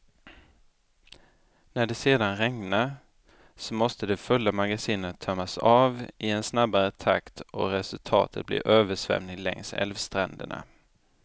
När det sedan regnar, så måste de fulla magasinen tömmas av i en snabbare takt och resultatet blir översvämning längs älvstränderna.